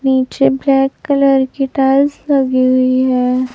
नीचे black colour की tiles लगी हुई है।